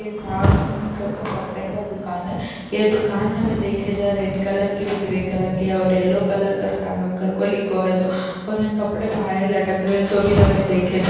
یہ ساگ ہم کارکو کپڑے کا دکان ہے یہ دکان ہمیں دیکھ جا ریڈ کلر کے بھی گرے کلر کے ہے اور یلو کلر کا ساگم کارکو لکھو ہے سو اور یہاں کپڑے بہار لٹک رہے ہے سو بھی ہمیں دیکھ جا --